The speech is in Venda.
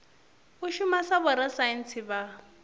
u shuma sa vhorasaintsi vha